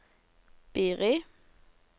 Biri